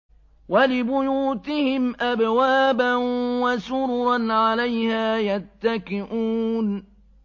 وَلِبُيُوتِهِمْ أَبْوَابًا وَسُرُرًا عَلَيْهَا يَتَّكِئُونَ